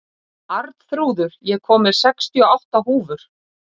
Arnþrúður, ég kom með sextíu og átta húfur!